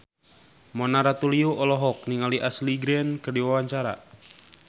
Mona Ratuliu olohok ningali Ashley Greene keur diwawancara